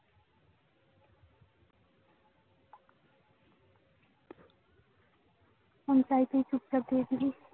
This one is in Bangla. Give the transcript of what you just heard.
phone চাইতেই চুপচাপ দিয়েছিলিস।